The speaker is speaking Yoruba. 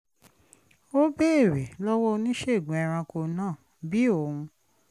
ó béèrè lọ́wọ́ oníṣègùn ẹranko náà bí òun